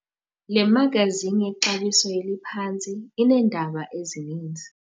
Le magazini yexabiso eliphantsi ineendaba ezininzi.